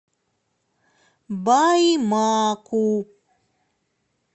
баймаку